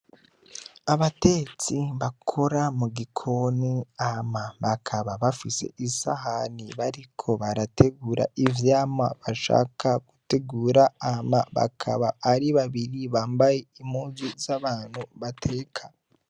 Abatetsi bakora mu gikoni hama bakaba bafise isahani bariko barategura ivyamwa bashaka gutegura, hama bakaba ari babiri bambaye impuzu z'abantu bateka.